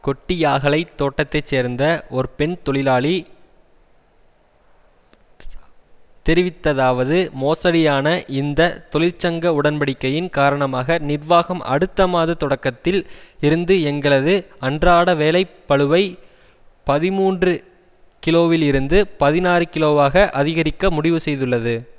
கொட்டியாகலை தோட்டத்தை சேர்ந்த ஒரு பெண் தொழிலாளி தெரிவித்ததாவது மோசடியான இந்த தொழிற்சங்க உடன்படிக்கையின் காரணமாக நிர்வாகம் அடுத்த மாத தொடக்கத்தில் இருந்து எங்களது அன்றாட வேலை பளுவை பதிமூன்று கிலோவில் இருந்து பதினாறு கிலோவாக அதிகரிக்க முடிவு செய்துள்ளது